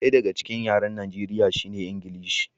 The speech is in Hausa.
Ɗaya daga cikin yaren Najeriya shine Ingilishi.